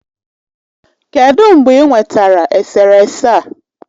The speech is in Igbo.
Kedụ mgbe ị nwetara eserese a?